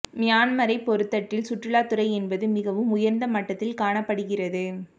மியன்மாரை பொறுத்தட்டில் சுற்றுாலத்துறை என்பது மிகவும் உயர்ந்த மட்டத்தில் காணப்படுகிறது